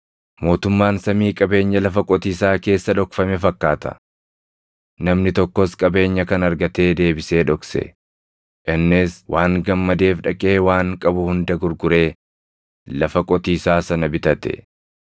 “Mootummaan samii qabeenya lafa qotiisaa keessa dhokfame fakkaata. Namni tokkos qabeenya kana argatee deebisee dhokse; innis waan gammadeef dhaqee waan qabu hunda gurguree lafa qotiisaa sana bitate.